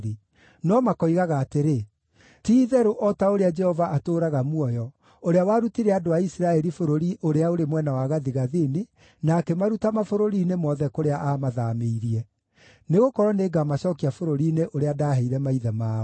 no makoigaga atĩrĩ, ‘Ti-itherũ o ta ũrĩa Jehova atũũraga muoyo, ũrĩa warutire andũ a Isiraeli bũrũri ũrĩa ũrĩ mwena wa gathigathini, na akĩmaruta mabũrũri-inĩ mothe kũrĩa aamathaamĩirie.’ Nĩgũkorwo nĩngamacookia bũrũri-inĩ ũrĩa ndaaheire maithe mao.”